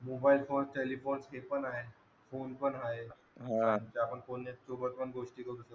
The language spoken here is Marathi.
मोबाईल फोने टेलिफोन ते पण आहे फोने पण आहे हा फोन ने कोणत्या पण गोष्टी करू शकतो